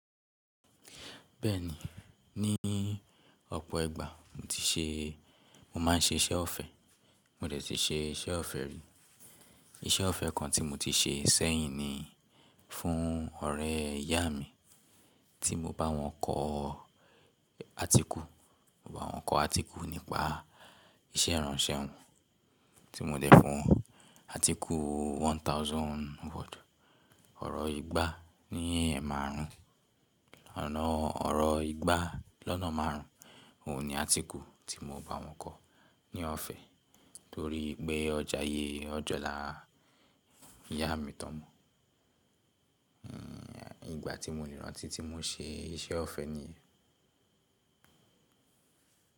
Bẹ́ẹ̀ni, ní ọ̀pọ̀ ìgbà mo ti ṣe, mo máa ń ṣe iṣẹ́ ọ̀fẹ́, mo dẹ̀ ti ṣe iṣẹ́ ọ̀fẹ́ rí. Iṣẹ́ ọ̀fẹ́ kan tí mo ti ṣe sẹ́yìn ni fún ọ̀rẹ́ ìyá mi tí mo bá wọn kọ article, mo bá wọn kọ article nípa iṣẹ́ ìránṣẹ́ wọn tíi mo dẹ̀ fún wọn. Article one thousand one thousand word, ọ̀rọ̀ igba ní ẹmaárùn-ún, ọ̀nà ọ̀rọ̀ igba lọ́nà márùn-ún. Óun ni article tí mo bá wọn kọ̀ ní ọ̀fẹ́ torí pé won jaye, won jolà ìyá mi ti won mọ. Hmm, ìgbà tí mo lè rántí tí mo ṣe iṣẹ́ ọ̀fẹ́ niyen.